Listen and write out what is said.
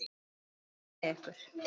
Guð veri með ykkur.